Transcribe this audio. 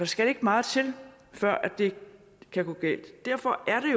skal ikke meget til før det kan gå galt derfor er